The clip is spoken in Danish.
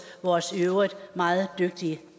vores i øvrigt meget dygtige